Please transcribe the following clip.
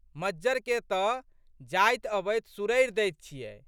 मज्जरके तऽ जाइत अबैत सुरैर दैत छियै।